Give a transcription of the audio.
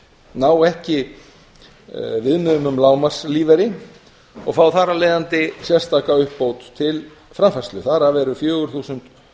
ná ekki viðmiðum um lágmarkslífeyri og fá þar af leiðandi sérstaka uppbót til framfærslu þar af eru fjögur þúsund